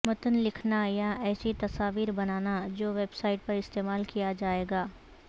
متن لکھنا یا ایسی تصاویر بنانا جو ویب سائٹ پر استعمال کیا جائے گا